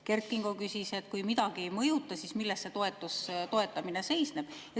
Kert Kingo küsis, et kui midagi ei mõjuta, siis milles see toetamine seisneb.